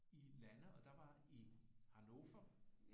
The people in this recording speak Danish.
I lande og der var i Hannover